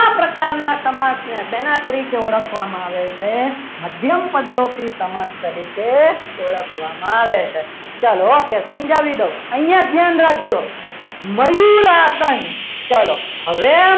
એવા પ્રકારના સમાજની કઈ રીતે ઓળખવામાં આવે છે મધ્યમપદલોપી સમાસ તરીકે ઓળખવામાં આવે છે ચાલો okay સમજાવી દઉં અહીંયા ધ્યાન રાખજો મયુર આસન ચલો